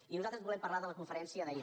i nosaltres volem parlar de la conferència d’ahir